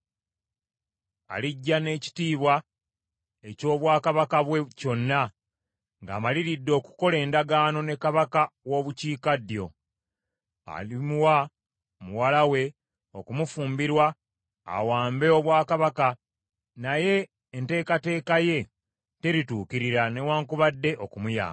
Alijja n’ekitiibwa eky’obwakabaka bwe kyonna ng’amaliridde okukola endagaano ne kabaka w’obukiikaddyo. Alimuwa muwala we okumufumbirwa awambe obwakabaka, naye enteekateeka ye terituukirira newaakubadde okumuyamba.